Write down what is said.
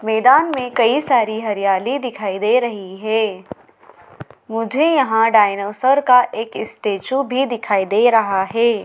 मैदान में कई सारी हरियाली दिखाई दे रही है मुझे यहाँ डायनोसर का एक स्टेच्यू भी दिखाई दे रहा है।